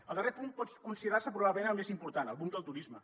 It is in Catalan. el darrer punt pot considerar se probablement el més important el boom del turisme